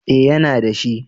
Eh yana da shi